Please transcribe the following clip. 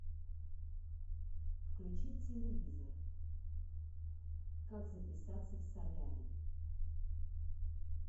включи телевизор как записаться в солярий